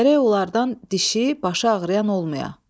Gərək onlardan dişi, başı ağrıyan olmaya.